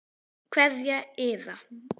Kveðja Iða.